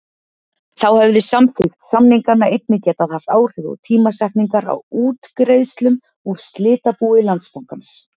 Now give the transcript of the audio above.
Þá hefði samþykkt samninganna einnig getað haft áhrif á tímasetningar á útgreiðslum úr slitabúi Landsbankans.